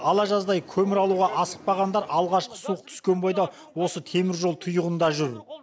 ала жаздай көмір алуға асықпағандар алғашқы суық түскен бойдан осы теміржол тұйығында жүр